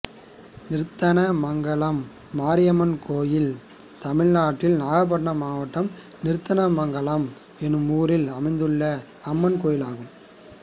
நிர்த்தனமங்கலம் மாரியம்மன் கோயில் தமிழ்நாட்டில் நாகப்பட்டினம் மாவட்டம் நிர்த்தனமங்கலம் என்னும் ஊரில் அமைந்துள்ள அம்மன் கோயிலாகும்